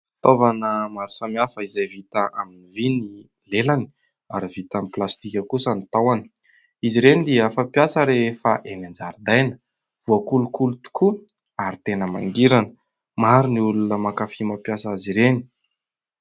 Fitaovana maro samihafa izay vita amin'ny vy ny lelany ary vita amin'ny plastika kosa ny tahony. Izy ireny dia fampiasa rehefa eny an-jaridaina, voakolokolo tokoa ary tena mangirana. Maro ny olona mankafy mampiasa azy ireny.